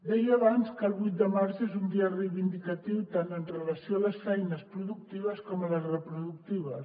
deia abans que el vuit de març és un dia reivindicatiu tant amb relació a les feines productives com a les reproductives